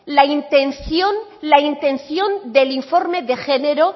la intención del informe de género